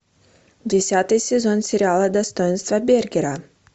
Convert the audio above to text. десятый сезон сериала достоинство бергера